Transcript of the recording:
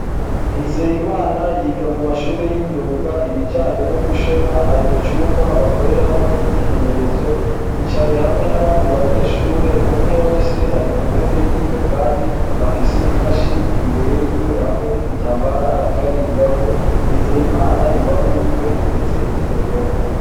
Nizeyimana yiga mumashure y’imyuga ibijanye no gushona, ari mucumba bakoreramwo imyimenyezo yicayehamwe n’abandi banyeshure umwe wese ari kuntebe yiwe kandi afise imashine imbere yiwe hamwe n’igitambara arikarigirako. Nizeyimana iruhande yiwe hateretse iterefone.